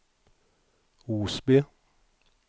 Osby